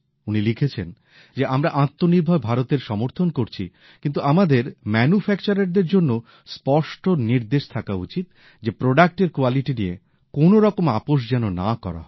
উনি লিখেছেন যে আমরা আত্মনির্ভর ভারতের সমর্থন করছি কিন্তু আমাদের উৎপাদকদের জন্যও স্পষ্ট নির্দেশ থাকা উচিৎ যে পণ্যের গুণমান নিয়ে কোন রকম আপোষ যেন না করা হয়